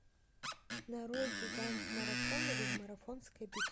нарой гигант марафона или марафонская битва